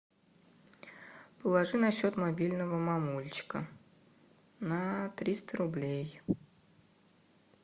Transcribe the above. положи на счет мобильного мамулечка на триста рублей